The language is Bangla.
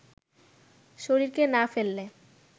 শরীরকে না ফেললে